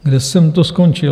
Kde jsem to skončil?